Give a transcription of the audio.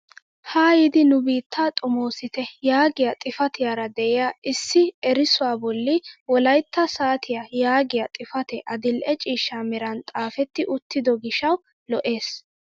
Ha yiidi nu biittaa xomoosite yaagiyaa xifatiyaara de'iyaa issi erissuwaa bolli wolayttaa saatiyaa yaagiyaa xifatee adil'e ciishsha meran xaafetti uttido giishshawu lo"ees!